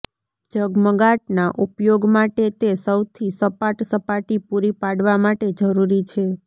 ઝગમગાટના ઉપયોગ માટે તે સૌથી સપાટ સપાટી પૂરી પાડવા માટે જરૂરી છે